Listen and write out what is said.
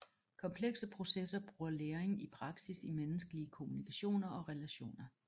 Komplekse processer bruger læring i praksis i menneskelige kommunikationer og relationer